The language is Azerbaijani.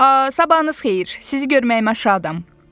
Sabahınız xeyir, sizi görməyimə şadam.